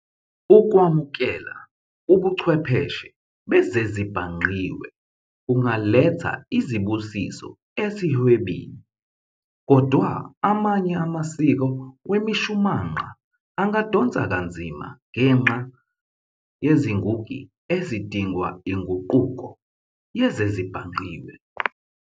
Ukwamukela ubuchwepheshe bezezibhangqiwe kungaletha izibusiso esihwebini, kodwa, amanye amasiko wemishumanqa angadonsa kanzima ngenxa yezinguki ezidingwa inguquko yezezibhangqiwe.